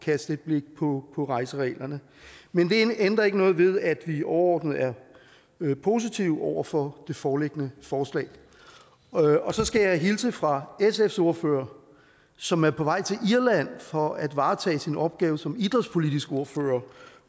kaste et blik på på rejsereglerne men det ændrer ikke noget ved at vi overordnet er positive over for det foreliggende forslag og så skal jeg hilse fra sfs ordfører som er på vej til irland for at varetage sin opgave som idrætspolitisk ordfører